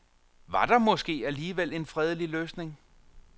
Var der måske alligevel en fredelig løsning.